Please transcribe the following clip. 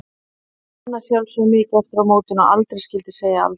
Það er þó enn að sjálfsögðu mikið eftir að mótinu og aldrei skyldi segja aldrei.